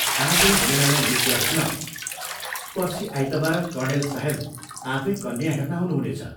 आजै वीणालाई यो कुरा सुनाऊ, पर्सि आइतवार कर्णेल साहेब आफै कन्या हेर्न आउनुहुनेछ।